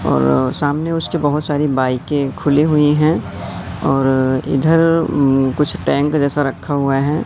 और सामने उसके बहुत सारी बाइकें खुली हुई हैं और इधर उम्म कुछ टैंक जैसा रखा हुआ है।